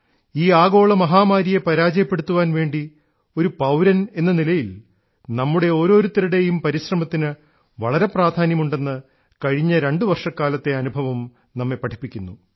ഈ ആഗോള മഹാമാരിയെ പരാജയപ്പെടുത്താൻവേണ്ടി ഒരു പൌരനെന്നനിലയിൽ നമ്മുടെ ഓരോരുത്തരുടേയും പരിശ്രമത്തിന് വളരെ പ്രാധാന്യമുണ്ടെന്ന് കഴിഞ്ഞ രണ്ടു വർഷക്കാലത്തെ അനുഭവം നമ്മെ പഠിപ്പിക്കുന്നു